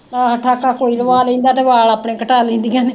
ਆਹੋ ਠਾਕਾ ਕੋਈ ਲਵਾ ਲੈਂਦਾ ਤੇ ਵਾਲ ਆਪਣੇ ਕਟਾ ਲੈਂਦੀਆਂ ਨੇ